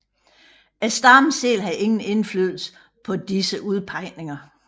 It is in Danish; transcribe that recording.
Stammen selv havde ingen indflydelse på disse udpegninger